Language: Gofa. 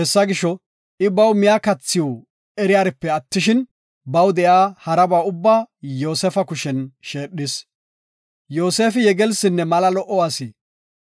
I miya kathiw eriyaripe attishin, baw de7iya haraba ubbaa Yoosefa kushen sheedhis. Yoosefi yegelsinne mala lo77o asi.